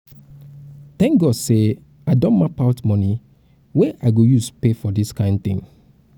thank god say i um don map out money wey i go um use pay for use pay for dis kin thing